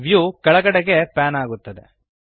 view ಕೆಳಗಡೆಗೆ pan ಆಗುತ್ತದೆ